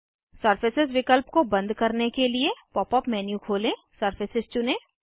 surface विकल्प को बंद करने के लिए पॉप अप मेन्यू खोलें सरफेस चुनें